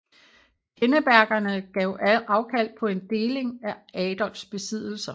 Pinnebergerne gav afkald på en deling af Adolfs besiddelser